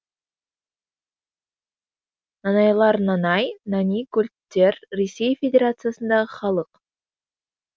нанайлар нанай нани гольдтер ресей федерациясындағы халық